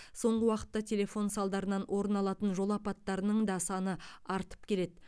соңғы уақытта телефон салдарынан орын алатын жол апаттарының да саны артып келеді